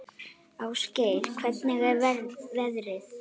Ásgeir, hvernig er veðrið?